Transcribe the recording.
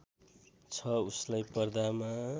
छ उसलाई पर्दामा